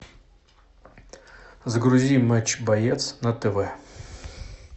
загрузи матч боец на тв